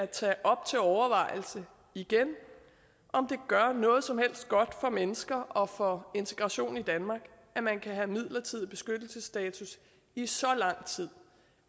tage op til overvejelse igen om det gør noget som helst godt for mennesker og for integrationen i danmark at man kan have midlertidig beskyttelsesstatus i så lang tid